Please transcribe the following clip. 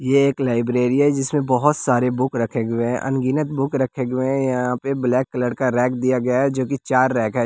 यह एक लाइब्रेरी है जिसमें बहोत सारे बुक रखे हुए हैं अनगिनत बुक रखे हुए हैं यहां पे ब्लैक कलर का रैक दिया गया है जो की चार रैक है।